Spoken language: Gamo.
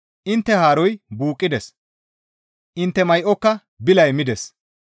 Intte haaroy buuqqides; intte may7oka bilay mides.